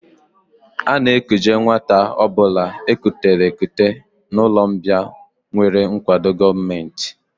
A na-ekuje nwata ọ bụla e kutere ekute n'ụlọmbịa nwere nkwado gọọmenti